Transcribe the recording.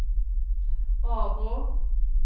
Arbrå